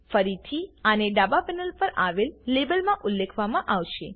ફરીથી આને ડાબા પેનલ પર આવેલ લેબલમાં ઉલ્લેખવામાં આવશે